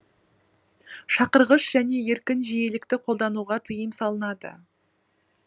шақырғыш және еркін жиілікті қолдануға тиым салынады